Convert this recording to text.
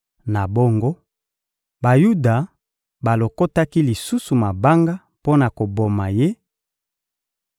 Na bongo, Bayuda balokotaki lisusu mabanga mpo na koboma Ye,